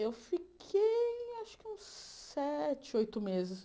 Eu fiquei, acho que uns sete, oito meses.